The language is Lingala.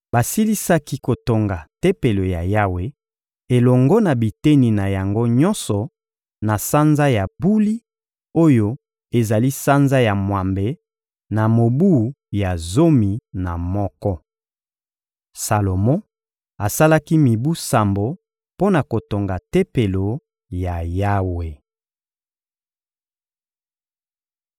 Basilisaki kotonga Tempelo ya Yawe elongo na biteni na yango nyonso na sanza ya Buli oyo ezali sanza ya mwambe, na mobu ya zomi na moko. Salomo asalaki mibu sambo mpo na kotonga Tempelo ya Yawe.